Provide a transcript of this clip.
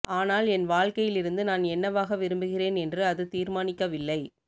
ஆனால் என் வாழ்க்கையிலிருந்து நான் என்னவாக விரும்புகிறேன் என்று அது தீர்மானிக்கவில்லை